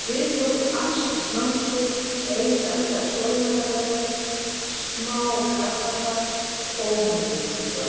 Við tóku alls kyns námskeið, ein eða tvær sólarlandaferðir, smá karlafar, tóm vitleysa allt saman.